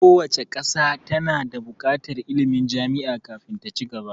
Kowace ƙasa ta na buƙatar ilmin jami'a kafin ta ci gaba